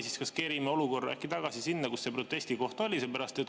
Ehk me kerime olukorra tagasi sinna kohta, kui see protest oli.